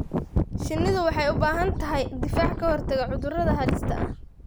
Shinnidu waxay u baahan tahay difaac ka hortagga cudurrada halista ah.